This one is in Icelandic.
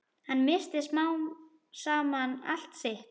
Hann missti smám saman allt sitt.